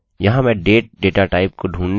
मैं इसे date से निर्धारित करूँगा